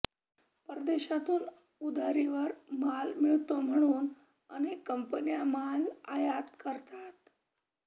परदेशातून उधारीवर माल मिळतो म्हणून अनेक कंपन्या माल आयात करतात